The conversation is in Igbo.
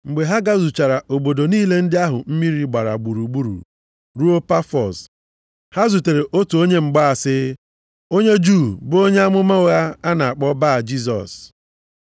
Mgbe ha gazuchara obodo niile ndị ahụ mmiri gbara gburugburu ruo Pafọs, ha zutere otu onye mgbaasị, onye Juu bụ onye amụma ụgha a na-akpọ Ba-Jisọs.